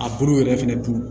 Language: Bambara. A bolo yɛrɛ fɛnɛ tun